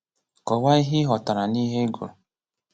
Kọwaa ihe ịghọtara n'ihe ị gụrụ